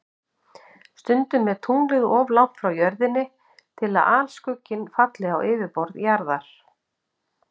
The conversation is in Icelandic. Stundum er tunglið of langt frá Jörðinni til að alskugginn falli á yfirborð Jarðar.